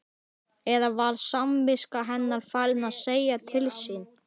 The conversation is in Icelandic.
Eða var samviska hennar farin að segja til sín?